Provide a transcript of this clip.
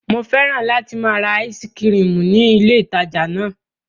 Mo fẹ́ràn láti máa ra áísí kirìmì ní ní ilé ìtajà náà.